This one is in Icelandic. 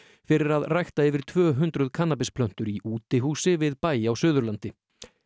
fyrir að rækta yfir tvö hundruð kannabisplöntur í útihúsi við bæ á Suðurlandi